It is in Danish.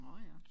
Nårh ja